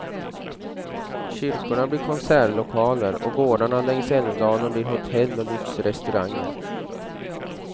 Kyrkorna blir konsertlokaler och gårdarna längs älvdalen blir hotell och lyxrestauranger.